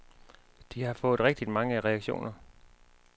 De har fået rigtig mange reaktioner.